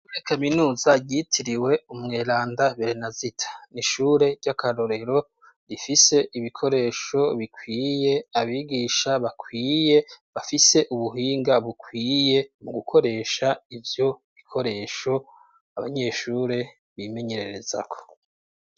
Muri kaminuza ryitiriwe umweranda Berenazita. N'ishure ry'akarorero rifise ibikoresho bikwiye, abigisha bakwiye, bafise ubuhinga bukwiye, mu gukoresha ivyo bikoresho abanyeshure bimenyererezako.